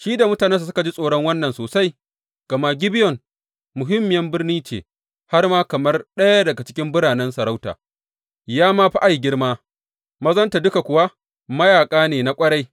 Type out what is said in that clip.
Shi da mutanensa suka ji tsoron wannan sosai, gama Gibeyon muhimmiyar birni ce, har ma kamar ɗaya daga cikin biranen sarauta, ya ma fi Ai girma, mazanta duka kuwa mayaƙa ne na ƙwarai.